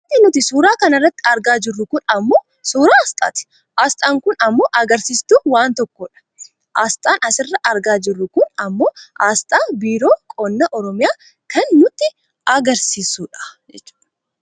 Wanti nuti suuraa kana irratti argaa jirru kun ammoo suuraa aasxaati . Aasxaan kun ammoo agarsiistuu waan tokkoodha . Aasxaan asirraa argaa jirru kun ammoo aasxaa Biiroo Qonna Oromiyaa kan nutti agarsiisudha.